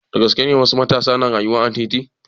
Da gaske ne wasu matasa na rayuwa a titi?